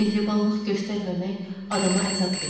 mehribanlıq göstərməmək adama əzab verir.